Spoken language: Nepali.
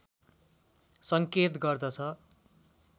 सङ्केत गर्दछ